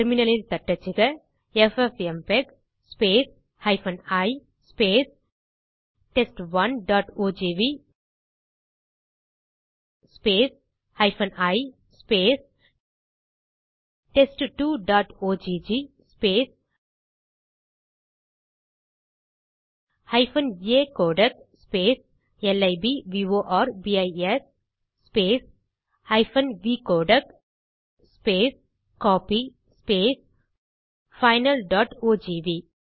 terminal இல் தட்டச்சுக FFmpeg i test1ஓஜிவி i test2ஒக் acodec லிப்வோர்பிஸ் vcodec கோப்பி finalஓஜிவி